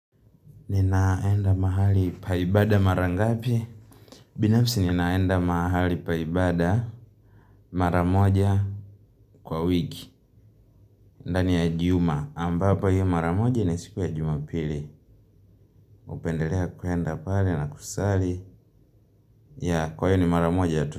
Ninaenda mahali pa ibada mara ngapi? Binafsi ninaenda mahali pa ibada mara moja kwa wiki. Ndani ya juma. Ambapo hiyo mara moja ni siku ya jumapili. Hupendelea kuenda pale na kusali. Ya kwaiyo ni mara moja tu.